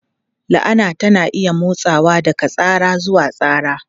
La'ana tana iya motsawa daga tsara zuwa tsara.